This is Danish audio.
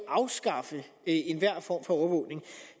afskaffe enhver form for overvågning